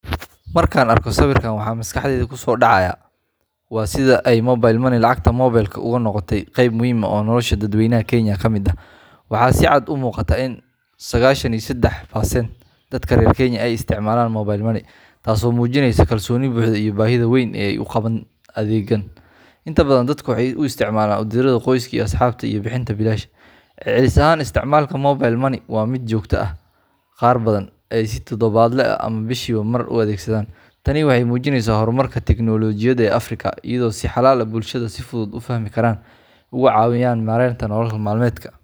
Markaan arko sawirkan, waxa maskaxdayda kusoo dhacaya waa sida ay Mobile Money lacagta moobilka uga noqotay qayb muhiim ah oo nolosha dadweynaha Kenya ka mid ah. Waxaa si cad u muuqata in: boqolkiba sagashan iyo sedex, dadka reer Kenya ay isticmaalaan mobile money, taasoo muujinaysa kalsooni buuxda iyo baahida weyn ee ay u qabaan adeeggan. Inta badan dadku waxay u isticmaalaan u diridda qoyska iyo asxaabta, iyo bixinta biilasha. Celcelis ahaan, isticmaalka mobile money waa mid joogto ah qaar badan ayaa si todobaadle ah ama bishiiba mar u adeegsada. Tani waxay muujinaysaa horumarka tiknoolajiyadda ee Afrika iyo sida xalal ay bulshada si fudud u fahmi karaan uga caawiyaan maareynta nolol maalmeedka.